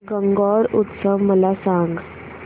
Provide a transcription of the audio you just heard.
गणगौर उत्सव मला सांग